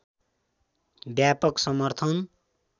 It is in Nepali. व्यापक समर्थन